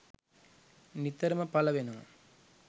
නිතරම පල වෙනවා